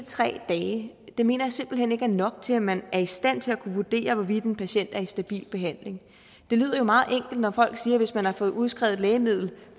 tre dage det mener jeg simpelt hen ikke er nok til at man er i stand til at kunne vurdere hvorvidt en patient er i stabil behandling det lyder jo meget enkelt når folk siger at hvis man har fået udskrevet et lægemiddel